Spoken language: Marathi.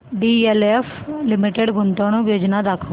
डीएलएफ लिमिटेड गुंतवणूक योजना दाखव